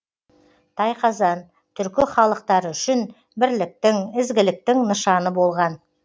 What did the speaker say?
тайқазан түркі халықтары үшін бірліктің ізгіліктің нышаны болған